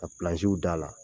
Ka pilansiw d'ala l